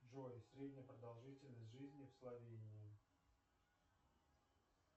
джой средняя продолжительность жизни в словении